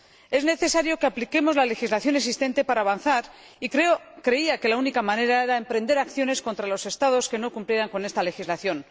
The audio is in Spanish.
Es necesario que apliquemos la legislación existente para avanzar y creía que la única manera era emprender acciones contra los Estados que no cumplieran con esta legislación.